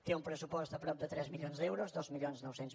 té un pressupost de prop de tres milions d’euros dos mil nou cents